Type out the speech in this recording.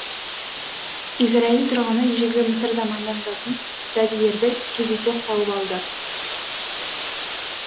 израиль тұрғыны ежелгі мысыр заманына жататын жәдігерді кездейсоқ тауып алды